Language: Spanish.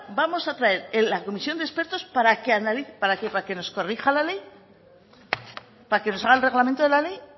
vamos a traer la comisión de expertos para qué para que nos corrija la ley para que nos haga el reglamento de la ley